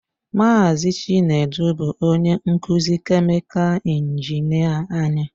Mazị Chinedu bụ onye nkuzi kèmikal injinịa anyị